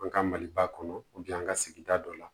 An ka maliba kɔnɔ an ka sigida dɔ la